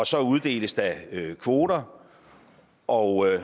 så uddeles der kvoter og